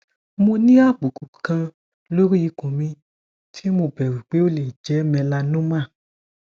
mo ní àbùkù kan lórí ikun mi tí mo bẹrù pé ó lè jẹ melanoma